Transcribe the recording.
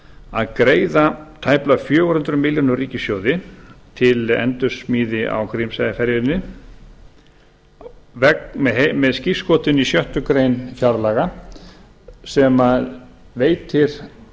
að greiða tæplega fjögur hundruð milljónir úr ríkissjóði til endursmíði á grímseyjarferjunni með skírskotun í sjöttu grein fjárlaga sem veitir